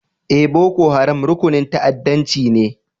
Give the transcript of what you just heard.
Eh, Boko Haram rukunin ta'addancci ne.